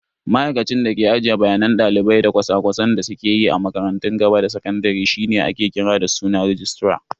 Ma'aikacin da ke ajiye bayanan dalibai da cosa-cosan da suke yi a makarantun gaba da sakandare shine ake kira da suna "Registra".